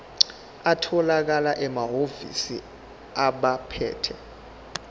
atholakala emahhovisi abaphethe